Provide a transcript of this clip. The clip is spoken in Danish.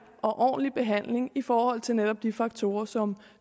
og ordentlig behandling i forhold til netop de faktorer som